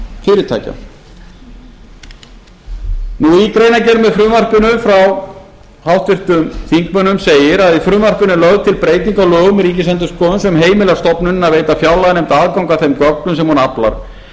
fyrirtækja í greinargerð með frumvarpinu frá háttvirtum þingmönnum segir í frumvarpinu er lögð til breyting á lögum um ríkisendurskoðun sem heimilar stofnuninni að veita fjárlaganefnd aðgang að þeim gögnum sem hún aflar